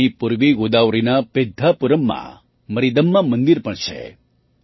અહીં પૂર્વી ગોદાવરીના પેદ્ધાપુરમ્માં મરીદમ્મા મંદિર પણ છે